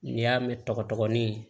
N'i y'a mɛn tɔgɔ dɔgɔnin